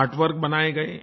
art work बनाए गए